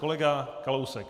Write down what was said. Kolega Kalousek.